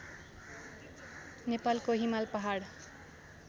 नेपालको हिमाल पहाड